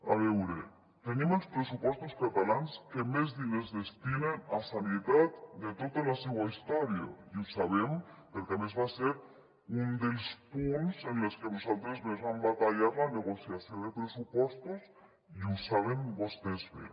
a veure tenim els pressupostos catalans que més diners destinen a sanitat de tota la seua història i ho sabem perquè a més va ser un dels punts en els que nosaltres més vam batallar la negociació de pressupostos i ho saben vostès bé